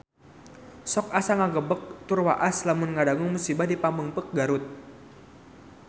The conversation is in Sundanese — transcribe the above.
Sok asa ngagebeg tur waas lamun ngadangu musibah di Pamengpeuk Garut